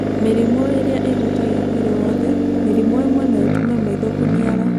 Mĩrimũ ĩrĩa ĩhutagia mwĩrĩ wothe: mĩrimũ ĩmwe no ĩtũme maitho kũniara.